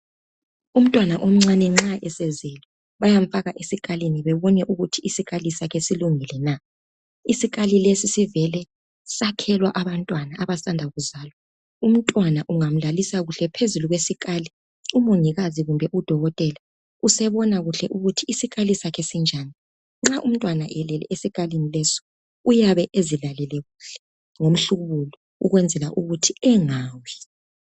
Umntwana omncane nxa esezwele bayamfaka esikalini bebone ukuthi isikali sakhe silungile na isikali lesi sivele sakhelwe abantwana abasanda kuzalwa umntwana ungamlalisa kuhle phezulu kwesikali umongikazi kumbe udokotela usebona kuhle ukuthi isikali sakhe sinjani nxa umntwana elele esikalini leso uyabe ezilalele kuhle ngomhlubulo ukwenzela ukuthi engawi.